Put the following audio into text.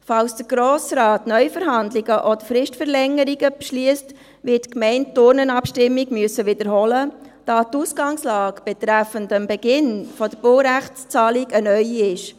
Falls der Grosse Rat Neuverhandlungen oder Fristverlängerungen beschliesst, wird die Gemeinde die Urnenabstimmung wiederholen müssen, da die Ausganglage betreffend Beginn der Baurechtszahlung eine neue ist.